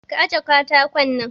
Ka ajiye katakon nan!